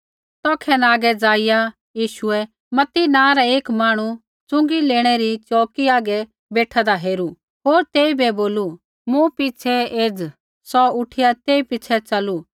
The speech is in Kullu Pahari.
तौखै न आगै ज़ाइआ यीशुऐ मत्ती नाँ रा एक मांहणु च़ुँगी लेणै री च़ोऊकी हागै बेठादा हेरू होर तेइबै बोलू मूँ पिछ़ै एज़ा सौ उठिया तेई पिछ़ै च़लू